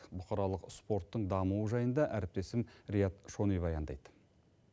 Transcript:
бұқаралық спорттың дамуы жайында әріптесім риат шони баяндайды